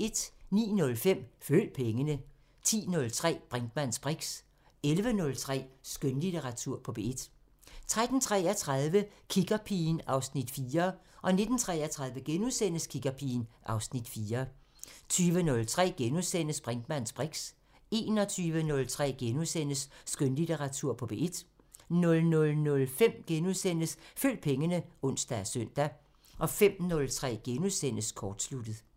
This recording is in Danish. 09:05: Følg pengene 10:03: Brinkmanns briks 11:03: Skønlitteratur på P1 13:33: Kiggerpigen (Afs. 4) 19:33: Kiggerpigen (Afs. 4)* 20:03: Brinkmanns briks * 21:03: Skønlitteratur på P1 * 00:05: Følg pengene *(ons og søn) 05:03: Kortsluttet *